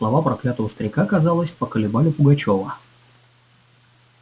слова проклятого старика казалось поколебали пугачёва